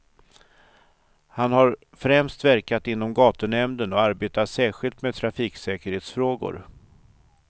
Han har främst verkat inom gatunämnden och arbetat särskilt med trafiksäkerhetsfrågor.